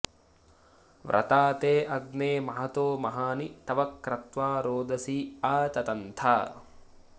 व्रता ते अग्ने महतो महानि तव क्रत्वा रोदसी आ ततन्थ